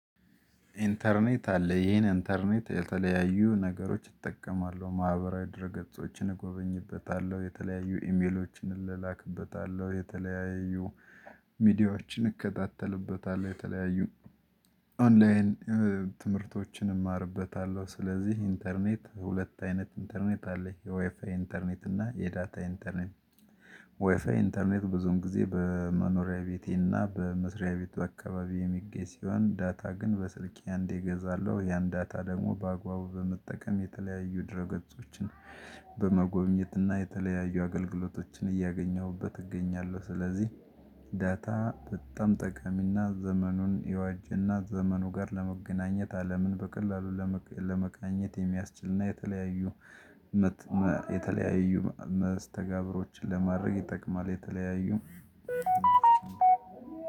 ኢንተርኔት አለ ይሄን ኢንተርኔት የተለያዩ ነገሮች እጠቀማለሁ ማህበራዊ ድረ ገጾችን እጎበኝበታለሁ የተለያዩ ኢሜሎችን እላላክበታለሁ የተለያዩ ሚዲያዎችን እከታተልበታለሁ የተለያዩ ኦንላይን ትምህርቶችን እማርበታለሁ። ስለዚህ ኢንተርኔት ሁለት አይነት ኢንተርኔት አለኝ። የዋይፋይ ኢንተርኔት እና የዳታ ኢንተርኔት። ዋይፋይ ኢንተርኔት ብዙም ጊዜ በመኖሪያ ቤቴና በመስሪያ ቤቱ አካባቢ የሚገኝ ሲሆን ዳታ ግን በስልክ አንዴ እገዛለሁ። ያን ዳታ ደግሞ በአግባቡ በመጠቀም የተለያዩ ድርገጾችን በመጎብኘት እና የተለያዩ አገልግሎቶችን እያገኘሁበት እገኛለሁ። ስለዚህ ዳታ በጣም ጠቃሚና ዘመኑን የዋጅና ዘመኑ ጋር ለመገናኘት አለምን በቀላሉ ለመቃኘት የሚያስችልና የተለያዩ የተለያዩ መስተጋብሮችን ለማድረግ ይጠቅማል። የተለያዩ